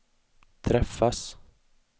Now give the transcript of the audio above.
träffas